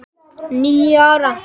. níu ár!